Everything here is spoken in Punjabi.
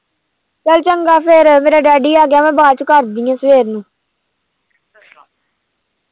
ਚੱਲ ਚੰਗਾ ਫਿਰ ਮੇਰਾ daddy ਆ ਗਿਆ ਮੈਂ ਬਾਅਦ ਚ ਕਰਦੀ ਹਾਂ ਸਵੇਰ ਨੂੰ।